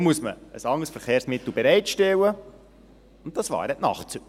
Dazu muss man ein anderes Verkehrsmittel bereitstellen und das wären die Nachtzüge.